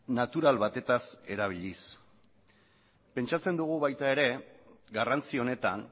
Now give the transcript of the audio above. natural batez erabiliz pentsatzen dugu baita ere garrantzi honetan